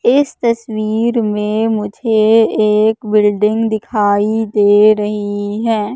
इस तस्वीर में मुझे एक बिल्डिंग दिखाई दे रहीं हैं।